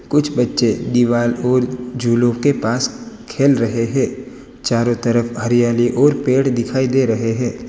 कुछ बच्चे दीवार को झूलों के पास खेल रहे हैं। चारों तरफ हरियाली और पेड़ दिखाई दे रहे हैं।